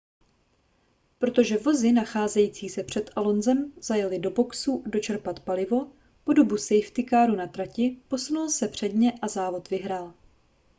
protože vozy nacházející se před alonsem zajely do boxů dočerpat palivo po dobu safety caru na trati posunul se před ně a závod vyhrál